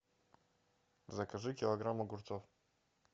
закажи килограмм огурцов